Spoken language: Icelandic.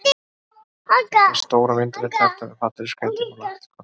Þetta er stór og myndarleg terta með fallegri skreytingu úr lakkrískonfekti.